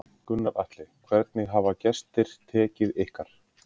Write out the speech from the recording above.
Gunnar Atli: Hvernig hafa gestir tekið ykkar?